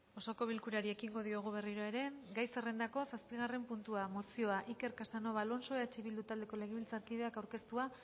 osoko bilkurari ekingo diogu berriro ere gai zerrendako zazpigarren puntua mozioa iker casanova alonso eh bildu taldeko legebiltzarkideak aurkeztua